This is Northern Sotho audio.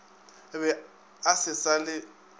be a se sa le